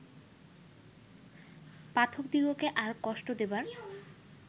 পাঠকদিগকে আর কষ্ট দিবার